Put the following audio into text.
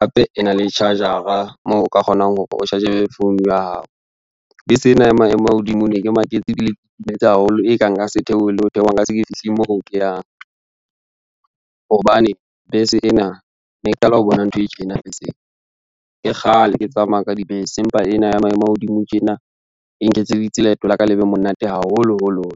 hape ena le charger-a moo o ka kgonang hore o charge phone ya hao. Bese ena ya maemo a hodimo ne ke maketse ebile ke itumetse haholo, e ka nka se theohe le ho theoha nka se ke fihli moo ke yang, hobane bese ena ne ke qala ho bona ntho e tjena beseng. Ke kgale ke tsamaya ka dibese, empa ena ya maemo a hodimo tjena e nketseditse leeto la ka le be monate haholoholoholo.